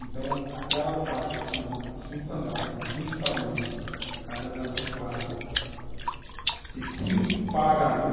Então, aquela parte que são cinco andares, são vinte famílias, cada andar são quatro, se cinco pagam a água,